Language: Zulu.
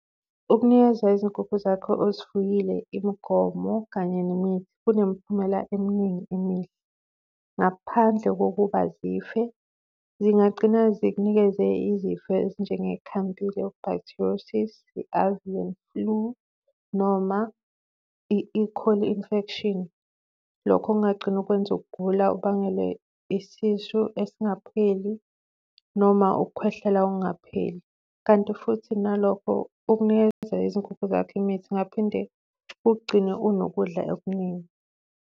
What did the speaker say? Ukunikeza izinkukhu zakho ozifuyile imigomo kanye nemithi kunemiphumela eminingi emihle. Ngaphandle kokuba zife, zingagcina zikunikeze izifo ezinjenge-calmapylobacteriosis, i-avian flu noma i-e.coli infection. Lokho kungagcina kukwenza ugula kubangele isisu esingapheli noma ukukhwehlela okungapheli kanti futhi nalokho ukunikeza izinkukhu zakho imithi kungaphinde kukugcine unokudla okuningi.